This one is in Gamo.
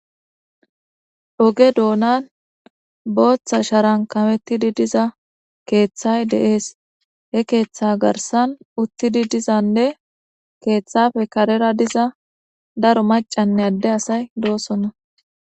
oge doonan booththa sharan kawettidi diza keeththay deees he keeththa garsan uttidi dizanne keeththafe karera diza daro macanne adde asay doosonna